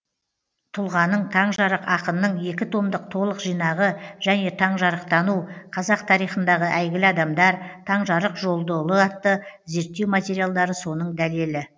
тұлғаның таңжарық ақынның екі томдық толық жинағы және таңжарықтану қазақ тарихындағы әйгілі адамдар таңжарық жолдыұлы атты зерттеу материалдары соның дәлелі